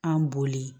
An boli